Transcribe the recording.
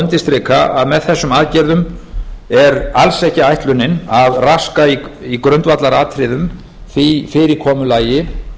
undirstrika að með þessum aðgerðum er alls ekki ætlunin að raska í grundvallaratriðum því fyrirkomulagi